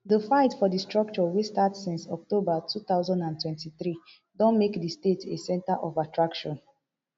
di fight for di structure wey start since october two thousand and twenty-three don make di state a center of attraction